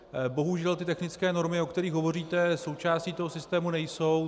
Bohužel ty technické normy, o kterých hovoříte, součástí toho systému nejsou.